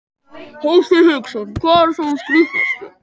Hafsteinn Hauksson: Hvar var sá skrítnasti?